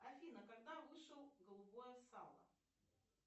афина когда вышел голубое сало